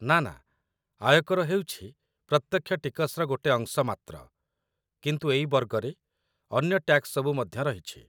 ନା ନା, ଆୟକର ହେଉଛି ପ୍ରତ୍ୟକ୍ଷ ଟିକସର ଗୋଟେ ଅଂଶ ମାତ୍ର, କିନ୍ତୁ ଏଇ ବର୍ଗରେ ଅନ୍ୟ ଟାକ୍ସ ସବୁ ମଧ୍ୟ ରହିଛି ।